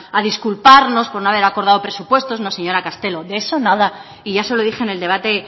a disculparnos por no haber acordado presupuestos no señora castelo de eso nada y ya se lo dije en el debate